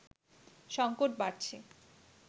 সংকট বাড়ছে